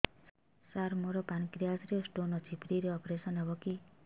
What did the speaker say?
ସାର ମୋର ପାନକ୍ରିଆସ ରେ ସ୍ଟୋନ ଅଛି ଫ୍ରି ରେ ଅପେରସନ ହେବ କି